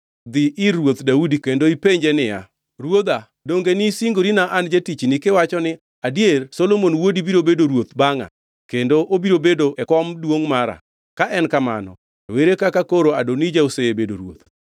Dhi ir Ruoth Daudi kendo penje niya, “Ruodha, donge nisingorina an jatichni kiwacho ni, ‘Adier Solomon wuodi biro bedo ruoth bangʼa kendo obiro bedo e kom duongʼ mara? Ka en kamano, to ere kaka koro Adonija osebedo ruoth?’